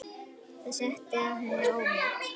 Það setti að henni ónot.